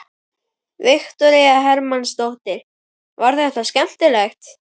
Viktoría Hermannsdóttir: Var þetta skemmtilegt?